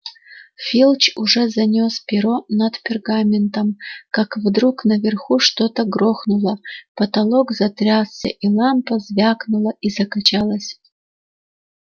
филч уже занёс перо над пергаментом как вдруг наверху что-то грохнуло потолок затрясся и лампа звякнула и закачалась